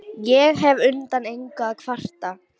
Ég hef undan engu að kvarta.